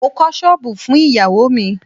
Mo kọ́ ṣọ́bùù fún ìyáwó mi.